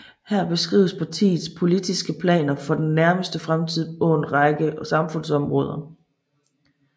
Her beskrives partiets politiske planer for den nærmeste fremtid på en række samfundsområder